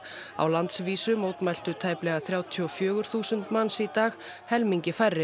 á landsvísu mótmæltu tæplega þrjátíu og fjögur þúsund manns í dag helmingi færri